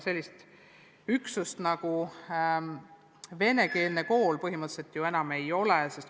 Sellist üksust nagu venekeelne kool põhimõtteliselt ju enam ei ole.